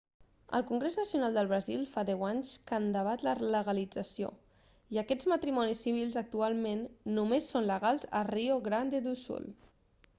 el congrés nacional del brasil fa 10 anys que en debat la legalització i aquests matrimonis civils actualment només són legals a rio grande do sul